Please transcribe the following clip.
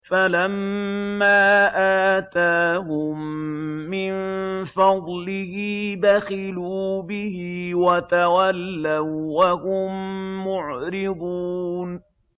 فَلَمَّا آتَاهُم مِّن فَضْلِهِ بَخِلُوا بِهِ وَتَوَلَّوا وَّهُم مُّعْرِضُونَ